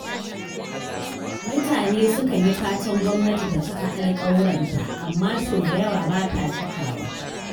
Mutane sukan yi fatan gwamnati ta cika alƙawuranta, amma sau da yawa bata cikawa.